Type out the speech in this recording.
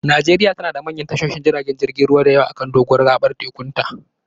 Najeriya tana da manyan tashoshin jiragen ruwa da yawa a kan doguwar gabar tekunta.